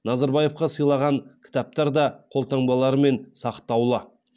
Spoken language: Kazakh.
назарбаевқа сыйлаған кітаптар да қолтаңбаларымен сақтаулы